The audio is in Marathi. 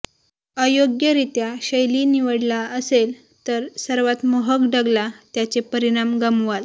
अयोग्यरित्या शैली निवडला असेल तर सर्वात मोहक डगला त्याचे परिणाम गमवाल